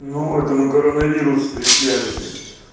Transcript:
ну это мы коронавирус встречали блять